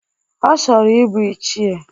Ọ chọrọ ibu ichie.